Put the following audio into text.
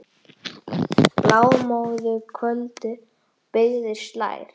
Blámóðu kvöldið á byggðir slær.